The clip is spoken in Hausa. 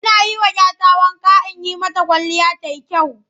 Ina yi wa 'ya wanka in yi mata kwalliya ta yi kyau.